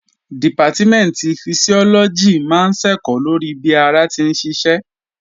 Dìpátímẹ̀ntì Fisiọ́lọ́gì máa ń ṣẹ̀kọ́ lórí bí ara ti ń ṣiṣẹ́